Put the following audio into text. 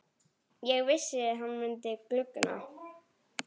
Ég vissi hann myndi guggna!